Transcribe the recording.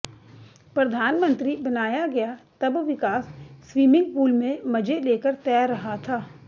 प्रधानमंत्री बनाया गया तब विकास स्वीमिंग पूल में मजे लेकर तैर रहा था